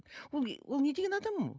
ол ол не деген адам ол